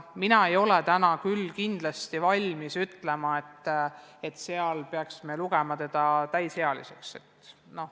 Mina ei ole küll kindlasti valmis ütlema, et 16-aastase peaks lugema täisealiseks.